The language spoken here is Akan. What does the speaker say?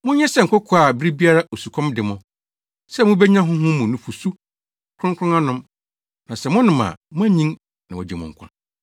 Monyɛ sɛ nkokoaa a bere biara osukɔm de mo, sɛ mubenya honhom mu nufusu kronkron anom, na sɛ monom a moanyin na wɔagye mo nkwa.